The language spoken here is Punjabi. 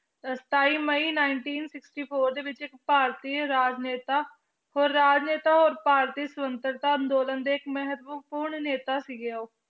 ਅਹ ਸਤਾਈ ਮਈ nineteen sixty-four ਦੇ ਵਿੱਚ ਇੱਕ ਭਾਰਤੀ ਰਾਜਨੇਤਾ ਹੋਰ ਰਾਜਨੇਤਾ ਹੋਰ ਪਾਰਟੀ ਸੁਤੰਤਰਤਾ ਅੰਦੋਲਨ ਦੇ ਇੱਕ ਮਹੱਤਵਪੂਰਨ ਨੇਤਾ ਸੀਗੇ ਉਹ।